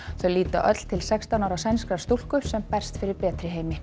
þau líta öll til sextán ára sænskrar stúlku sem berst fyrir betri heimi